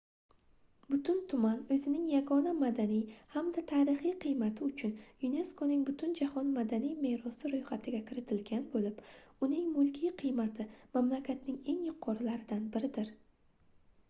butun tuman oʻzining yagona madaniy hamda tarixiy qiymati uchun yuneskoning butunjahon madaniy merosi roʻyxatiga kiritilgan boʻlib uning mulkiy qiymati mamlakatning eng yuqorilaridan biridir